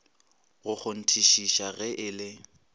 go kgonthišiša ge e le